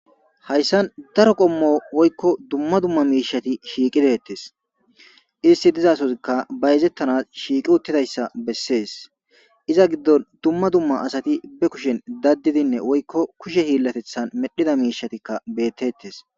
hayssan daro qommo woykko dumma dumma miishati shiiqidettes isti dizasozikka bayzettanas shiiqi uttidayssa bessees iza giddon dumma dumma asati be kushen daddidinne woykko kushe hiillatethan medhida miishatikka beettettes